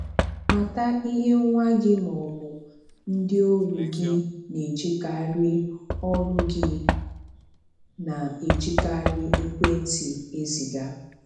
Mata ihe nwa gị maọbụ ndị ọrụ gị na-ejikarị ọrụ gị na-ejikarị ekwentị eziga.